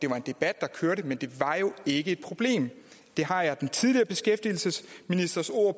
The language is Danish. det var en debat der kørte men det var jo ikke et problem det har jeg den tidligere beskæftigelsesministers ord